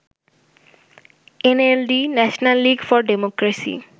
NLD National League for democracy